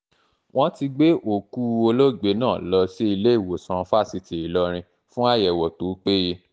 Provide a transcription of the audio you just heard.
wọ́n ti gbé òkú òkú olóògbé náà lọ sí ilé ìwòsàn fásitì ìlọrin fún àyẹ̀wò tó péye